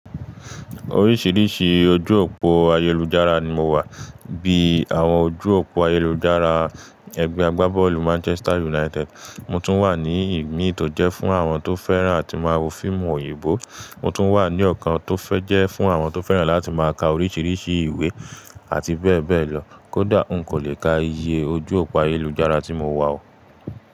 Oríṣiríṣi ojú òpó ayélujára ni mo wà, bíi àwọn ojú òpó ayélujára ẹgbẹ́ agbábọ́ọ̀lù Manchester United. Mo tún wà ní ìmíì tó jẹ́ fún àwọn tó fẹ́ràn láti máa wo fíìmù oyìnbó, mo tún wà ní ọ̀kan tó fẹ́ jẹ́ fún àwọn tó fẹ́ràn láti máa ka oríṣiríṣi ìwé àti bẹ́ẹ̀ bẹ́ẹ̀ lọ. Kódà n kò lè ka iye ojú òpó ayélujára tí mo wà o.